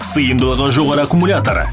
сыйымдылығы жоғары аккумулятор